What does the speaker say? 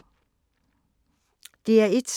DR1